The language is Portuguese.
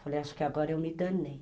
Falei, acho que agora eu me danei.